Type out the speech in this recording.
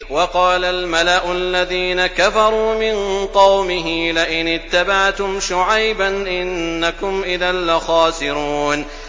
وَقَالَ الْمَلَأُ الَّذِينَ كَفَرُوا مِن قَوْمِهِ لَئِنِ اتَّبَعْتُمْ شُعَيْبًا إِنَّكُمْ إِذًا لَّخَاسِرُونَ